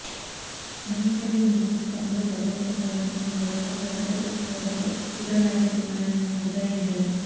అన్న క్యాంటీన్ల మూసివేతతో అందరు బాధపడుతున్నారని ఆయన మరోసారి కండతడి పెట్టుకోవడంతో ఇతర నాయకులు ఆయనను సముదాయించారు